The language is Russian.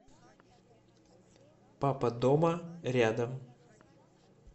папа дома рядом